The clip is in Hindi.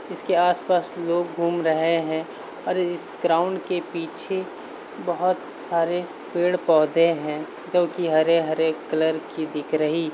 इस के आसपास लोग घूम रहे हे और इस ग्राउंड के पीछे बहोत सारे पेड़-पोधे हे जो की हरे हरे कलर की दिख रही --